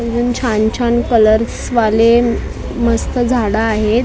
एकदम छान छान कलर्स वाले मस्त झाडं आहेत अजून बा --